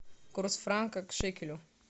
курс франка к шекелю